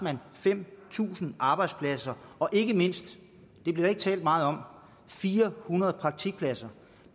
fem tusind arbejdspladser og ikke mindst det blev der ikke talt meget om fire hundrede praktikpladser